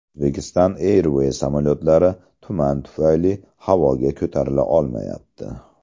Uzbekistan Airways samolyotlari tuman tufayli havoga ko‘tarila olmayapti.